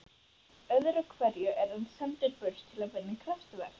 Öðruhverju er hann sendur burt til að vinna kraftaverk.